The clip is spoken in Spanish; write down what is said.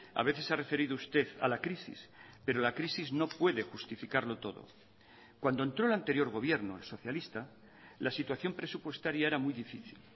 a veces se ha referido usted a la crisis pero la crisis no puede justificarlo todo cuando entró el anterior gobierno el socialista la situación presupuestaria era muy difícil